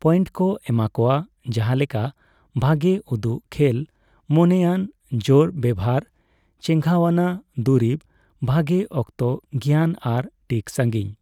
Point ᱠᱚ ᱮᱢᱟ ᱠᱳᱣᱟ ᱺ ᱡᱟᱸᱦᱟ ᱞᱮᱠᱟ ᱵᱷᱟᱜᱮ ᱩᱫᱩᱜ, ᱠᱷᱮᱞ ᱢᱚᱱᱮᱭᱟᱱ, ᱡᱳᱨ ᱵᱮᱵᱷᱟᱨ, ᱪᱮᱸᱜᱷᱟᱣᱱᱟ / ᱫᱩᱨᱤᱵ , ᱵᱷᱟᱜᱮ ᱚᱠᱛᱚ ᱜᱮᱭᱟᱱ ᱟᱨ ᱴᱤᱠ ᱥᱟᱹᱜᱤᱧ ᱾